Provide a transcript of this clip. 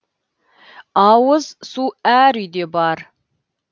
ауыз су әр үйде бар